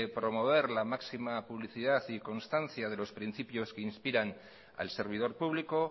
promover la máxima publicidad y constancia de los principios que inspirar al servidor público